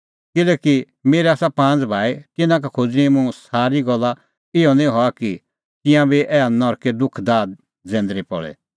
किल्हैकि मेरै आसा पांज़ भाई तिन्नां का खोज़णीं मुंह ईंयां सारी गल्ला इहअ निं हआ कि तिंयां बी ऐहा नरके दुख दाह जैंदरी पल़े